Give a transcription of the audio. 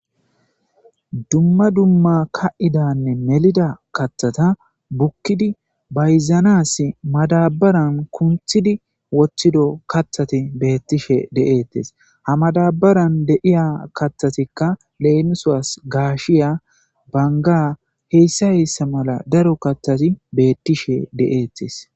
Dumma dumma ka'idanne melida kathata bukkidi bayzanas madabaran kunthidi woththido kathati beettishe de'eettes ha madabaran deiya kathatikka leenusaas gaashiya banga heyssa hessa mala daro kathati beettishe de'eettes.